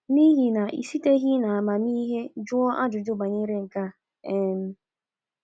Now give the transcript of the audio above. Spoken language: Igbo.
N’ihi na i siteghị n’amamihe jụọ ajụjụ banyere nke a. um ”